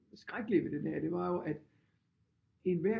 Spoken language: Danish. Skrækkelige ved den her det var jo at enhver